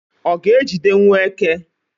ọ ga-ejidewo eke?